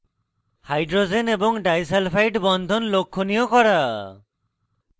hydrogen এবং disulphide বন্ধন লক্ষনীয় করা